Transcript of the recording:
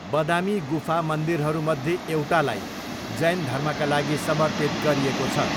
बदामी गुफा मन्दिरहरूमध्ये एउटालाई जैन धर्मका लागि समर्पित गरिएको छ।